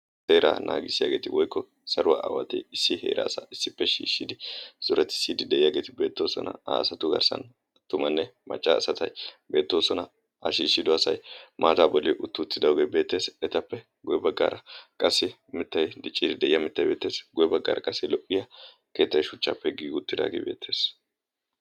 seeraa naagissiyaageeti woykko saruwaa awatee issi heeraa asaa issippe shiishshidi zoratissiddi de'iyaageeti beettoosona. asatu garssan attumanne maccaa asatay beettoosona ashiishshido asai maataa bolli uttuuttidaogee beettees etappe guye baggaara qassi mittay dicciidi deyiya mittay beettees. guye baggaara qassi lo'iya keettai shuchchaappe giigi uttidaagee beettees.